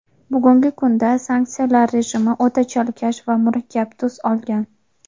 bugungi kunda sanksiyalar rejimi o‘ta chalkash va murakkab tus olgan.